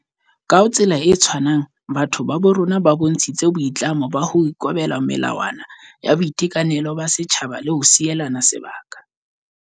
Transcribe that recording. Ka tsela e tshwanang, batho ba bo rona ba bontshitse boi tlamo ba ho ikobela melawa na ya boitekanelo ba setjhaba le ho sielana sebaka.